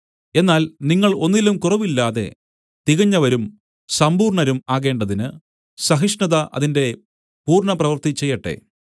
എന്നാൽ നിങ്ങൾ ഒന്നിലും കുറവില്ലാതെ തികഞ്ഞവരും സമ്പൂർണ്ണരും ആകേണ്ടതിന് സഹിഷ്ണത അതിന്റെ പൂർണ്ണ പ്രവൃത്തി ചെയ്യട്ടെ